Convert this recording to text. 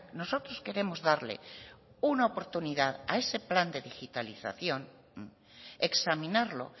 nosotros queremos darle una oportunidad a ese plan de digitalización examinarlo